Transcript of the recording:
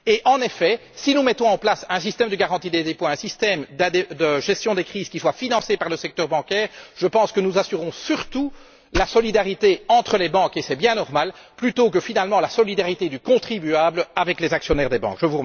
En effet, si nous mettons en place un système de garantie des dépôts, un système de gestion des crises qui soient financés par le secteur bancaire, je pense que nous assurerons surtout la solidarité entre les banques, et c'est bien normal, plutôt que, finalement, la solidarité entre le contribuable et les actionnaires des banques.